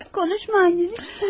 Ay, danışma, anne, lütfən.